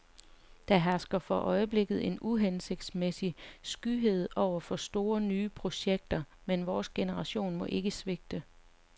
Der hersker for øjeblikket en uhensigtsmæssig skyhed over for store nye projekter, men vores generation må ikke svigte.